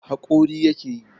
Haƙori yake yi.